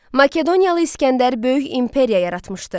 Makedoniyalı İsgəndər böyük imperiya yaratmışdı.